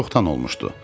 Çoxdan olmuşdu.